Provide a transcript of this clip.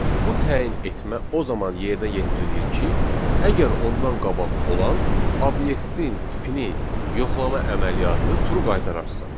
Bu təyin etmə o zaman yerinə yetirilir ki, əgər ondan qabaq olan obyektin tipini yoxlama əməliyyatı true qaytararsa.